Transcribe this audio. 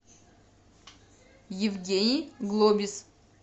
евгений глобис